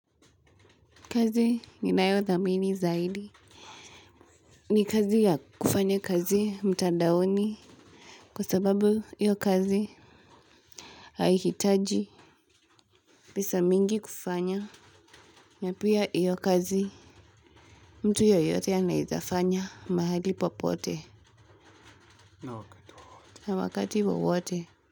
Kazi ni nayo dhamini zaidi. Ni kazi ya kufanya kazi mtandaoni. Kwa sababu hiyo kazi haihitaji. Pesa mingi kufanya. Na pia hiyo kazi mtu yeyote anaweza fanya mahali popote. Na wakati wowote.